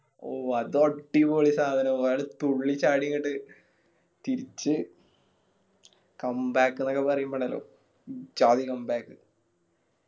ഓ അതടിപൊളി സാധന അയാള് തുള്ളി ചാടിയങ്ങട്ട് തിരിച്ച് Come back ന്നൊക്കെ പറയുമ്പോ ഇണ്ടല്ലോ ഇജ്ജാതി Come back